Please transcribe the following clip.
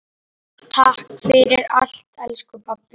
Takk fyrir allt elsku pabbi.